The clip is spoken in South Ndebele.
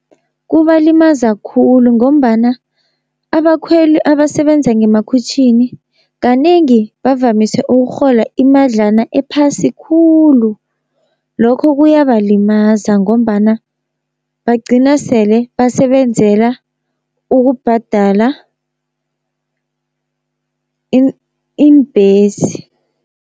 Kubalimaza khulu, ngombana abakhweli abasebenza ngemakhwitjhini kanengi bavamise ukurhola imadlana ephasi khulu, lokho kuyabalimaza, ngombana bagcina sele basebenzela ukubhadala iimbhesi.